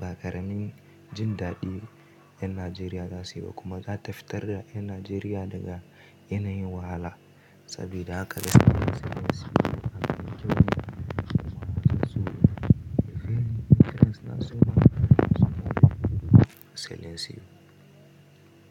ba ƙaramin jin daɗi 'yan Najeriya za su yi ba kuma za ta fitar da 'yan Najeriya daga yanayin wahala sabida haka da Silencios a Najeriya suna so. Silencios.